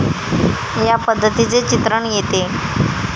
या पद्धतीचे चित्रण येते.